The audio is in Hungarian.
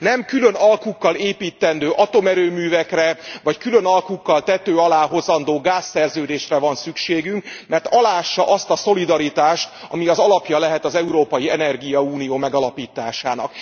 Nem külön alkukkal építendő atomerőművekre, vagy külön alkukkal tető alá hozandó gázszerződésre van szükségünk, mert aláássa azt a szolidaritást, ami az alapja lehet az európai energiaunió megalapításának.